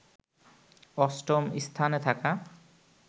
অস্টম স্থানে থাকা